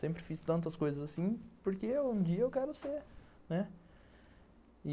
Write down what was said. Sempre fiz tantas coisas assim porque um dia eu quero ser, né.